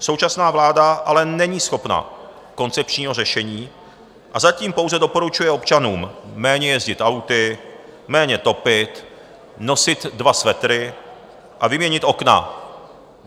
Současná vláda ale není schopna koncepčního řešení a zatím pouze doporučuje občanům méně jezdit auty, méně topit, nosit dva svetry a vyměnit okna.